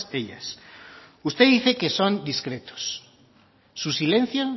ellas usted dice que son discretos su silencio